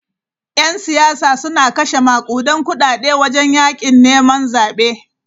‘Yan siyasa suna kashe makudan kudade wajen yakin neman zabe.